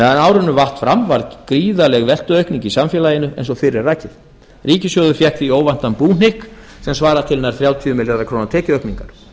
meðan árinu vatt fram var gríðarleg veltuaukning í samfélaginu eins og fyrr er rakið ríkissjóður fékk því óvæntan búhnykk sem svarar til nær þrjátíu milljarða króna tekjuaukningar